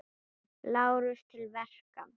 LÁRUS: Til verka!